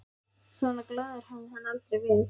Svona glaður hafði hann aldrei verið.